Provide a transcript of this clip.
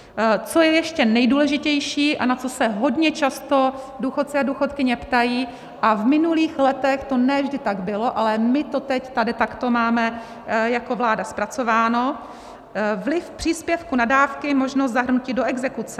Co je ještě nejdůležitější a na co se hodně často důchodci a důchodkyně ptají - a v minulých letech to ne vždy tak bylo, ale my to teď tady takto máme jako vláda zpracováno - vliv příspěvku na dávky, možnost zahrnutí do exekuce.